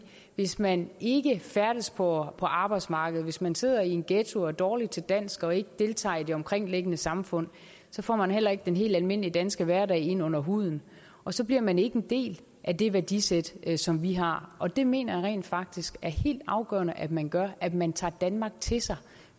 hvis man ikke færdes på arbejdsmarkedet hvis man sidder i en ghetto og er dårlig til dansk og ikke deltager i det omkringliggende samfund så får man heller ikke den helt almindelige danske hverdag ind under huden og så bliver man ikke en del af det værdisæt som vi har og det mener jeg rent faktisk er helt afgørende at man gør at man tager danmark til sig